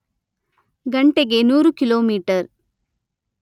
ಗಂಟೆಗೆ ನೂರು ಕಿಲೋಮೀಟರ್